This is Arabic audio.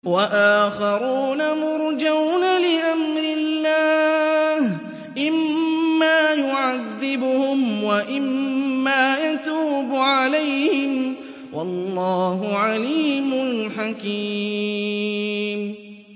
وَآخَرُونَ مُرْجَوْنَ لِأَمْرِ اللَّهِ إِمَّا يُعَذِّبُهُمْ وَإِمَّا يَتُوبُ عَلَيْهِمْ ۗ وَاللَّهُ عَلِيمٌ حَكِيمٌ